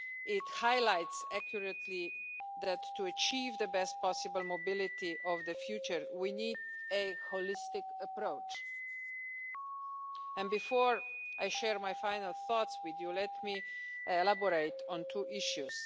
It highlights accurately that to achieve the best possible mobility in the future we need a holistic approach. Before I share my final thoughts with you, let me elaborate on two issues.